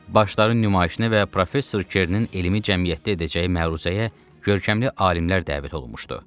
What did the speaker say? Başların nümayişinə və professor Kernin elmi cəmiyyətdə edəcəyi məruzəyə görkəmli alimlər dəvət olunmuşdu.